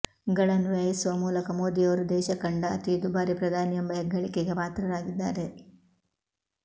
ಗಳನ್ನು ವ್ಯಯಿಸುವ ಮೂಲಕ ಮೋದಿಯವರು ದೇಶ ಕಂಡ ಅತೀ ದುಬಾರಿ ಪ್ರಧಾನಿ ಎಂಬ ಹೆಗ್ಗಳಿಕೆಗೆ ಪಾತ್ರರಾಗಿದ್ದಾರೆ